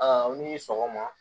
Aa aw ni sɔgɔma